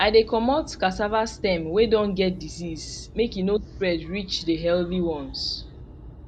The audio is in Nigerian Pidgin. i dey comot cassava stem wey don get disease make e no spread reach the healthy ones